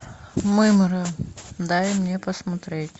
мымра дай мне посмотреть